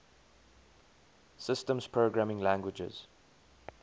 systems programming languages